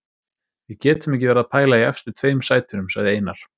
Við getum ekki verið að pæla í efstu tveim sætunum, sagði Einar.